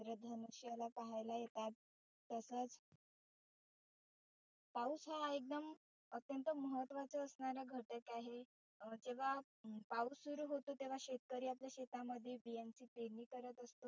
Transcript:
इंद्रधनुष्याला पहायला येतात तसच पाऊस हा एकदम अत्यंत महत्वाचा असणारा घटक आहे. जेव्हा पाऊस सुरु होतो तेव्हा शेतकरी आपल्या शेतामध्ये बियांची पेरनी करत असतो.